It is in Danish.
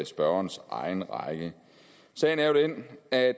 spørgerens egen regning sagen er jo den at